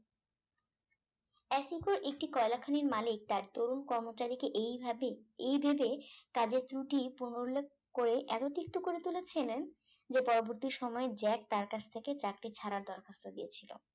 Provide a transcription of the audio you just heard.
আসিকো একটি কয়লা খনির মালিক তার তরুণ কর্মচারীকে এইভাবে এইদিকে তাদের ত্রুটি পুনরুল্লেখ করে এত তিক্ত করে তুলেছিলেন যে পরবর্তী সময়ে জ্যাক তার কাছ থেকে চাকরি ছাড়া দরখাস্তার দিয়েছিল